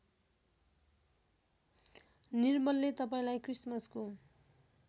निर्मलले तपाईँलाई क्रिसमसको